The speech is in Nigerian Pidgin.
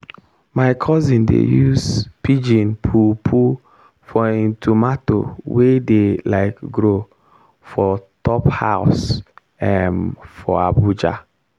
my cousin dey use pigeon poo poo for him tomato wey dey like grow for top house um for abuja.